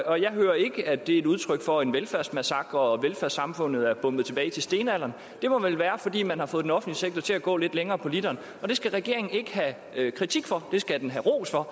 og jeg hører ikke at det er et udtryk for en velfærdsmassakre og at velfærdssamfundet er bombet tilbage til stenalderen det må vel være fordi man har fået den offentlige sektor til at gå lidt længere på literen og det skal regeringen ikke have kritik for det skal den have ros for